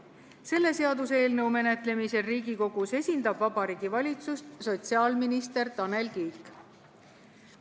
Selle seaduseelnõu menetlemisel Riigikogus esindab Vabariigi Valitsust sotsiaalminister Tanel Kiik.